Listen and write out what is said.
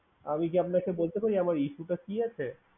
আমি কি আপনাকে বলতে পারি আমার issue টা কি আছে?